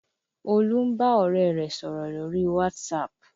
Olú ń bá ọ̀rẹ́ rẹ̀ sọ̀rọ̀ lórí WhatsApp